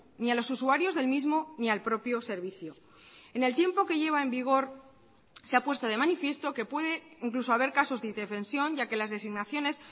ni a los usuarios del mismo ni al propio servicio en el tiempo que lleva en vigor se ha puesto de manifiesto que puede incluso haber casos de indefensión ya que las designaciones